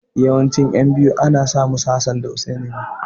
Yawancin ƴan biyu ana sa musu Hassan da Hussaini.